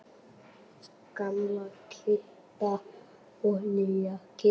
Gamla Kidda og nýja Kidda.